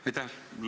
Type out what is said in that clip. Aitäh!